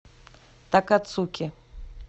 такацуки